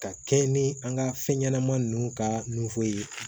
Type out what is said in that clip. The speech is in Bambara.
Ka kɛɲɛ ni an ka fɛn ɲɛnama ninnu ka nnfo ye